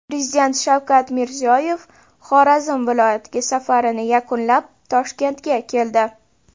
Prezident Shavkat Mirziyoyev Xorazm viloyatiga safarini yakunlab, Toshkentga keldi.